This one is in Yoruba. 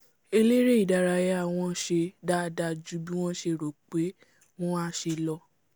elére ìdárayá wọn ṣe dáadáa jù bí wọ́n ṣe rò pé wọ́n a ṣe lọ